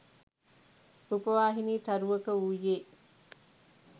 රූපවාහිනි තරුවක වූයේ